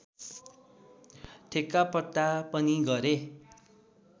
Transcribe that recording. ठेक्कापट्टा पनि गरे